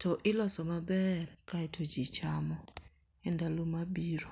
to iloso maber kaeto ji chamo e ndalo mabiro.